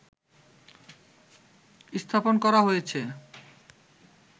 স্থাপন করা হয়েছে